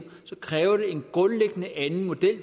kræver det en grundlæggende anden model